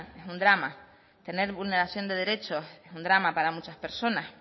es un drama tener vulneración de derechos es un drama para muchas personas